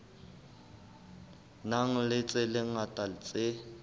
nang le tse ngata tse